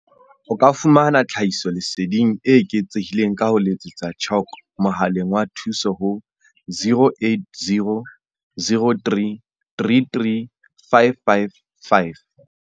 O ka fumana tlhahiso leseding e eketsehileng ka ho letsetsa CHOC mohaleng wa thuso ho 0800 333 555.